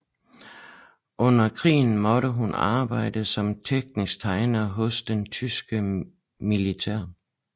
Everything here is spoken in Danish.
Under krigen måtte hun arbejde som teknisk tegner hos det tyske militær